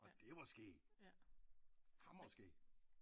Og det var skæg hamrende skæg